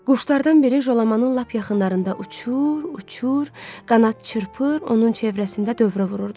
Quşlardan biri Jolamanın lap yaxınlarında uçur, uçur, qanad çırpır, onun çevrəsində dövrə vururdu.